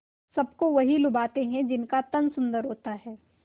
सबको वही लुभाते हैं जिनका तन सुंदर होता है